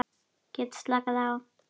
Get slakað á.